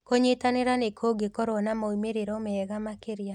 Kũnyitanĩra nĩ kũngĩkorũo na moimĩrĩro mega makĩria